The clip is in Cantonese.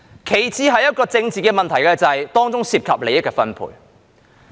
其次，這是政治問題，是由於當中涉及利益的分配。